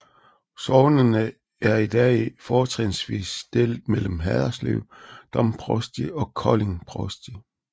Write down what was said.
Sognene er i dag fortrinsvis delt mellem Haderslev Domprovsti og Kolding Provsti